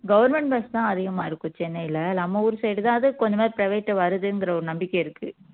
government bus தான் அதிகமா இருக்கும் சென்னையில நம்ம ஊரு side தான் கொஞ்சமாவது private உ வருதுங்குற ஒரு நம்பிக்கை இருக்கு